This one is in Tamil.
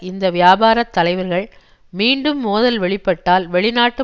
இந்த வியாபாரத் தலைவர்கள் மீண்டும் மோதல் வெளிப்பட்டால் வெளிநாட்டு